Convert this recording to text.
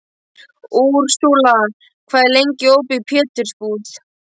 Úrsúla, hvað er lengi opið í Pétursbúð?